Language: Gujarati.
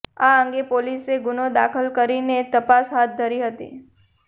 આ અંગે પોલીસે ગુનો દાખલ કરીને તપાસ હાથ ધરી હતી